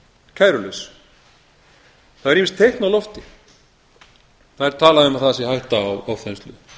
kærulaus það er má teikn á lofti það er talað um að það sé hætta á ofþenslu